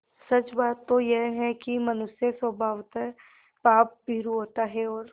सच बात तो यह है कि मनुष्य स्वभावतः पापभीरु होता है और